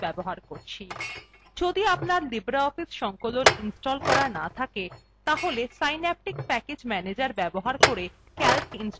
যদি libreoffice সংকলন install করা না থাকে তাহলে synaptic package manager ব্যবহার করে calc ইনস্টল করতে পারেন